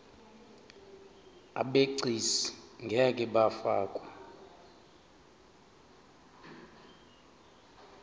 abegcis ngeke bafakwa